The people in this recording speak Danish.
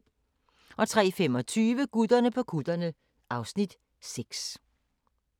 03:25: Gutterne på kutterne (Afs. 6)